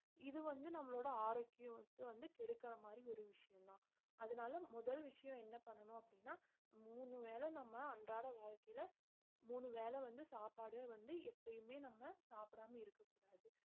இது வந்து நம்மளோட ஆரோக்கியுத்த வந்து கெடுக்குற மாதிரி ஒரு விஷயம்தான் அதனால முதல் விஷயம் என்ன பண்ணணும் அப்படின்னா மூணு வேளை நம்ம அன்றாட வாழ்க்கையில மூணு வேளை வந்து சாப்பாடு வந்து எப்பயுமே நம்ம சாப்பிடாம இருக்கக் கூடாது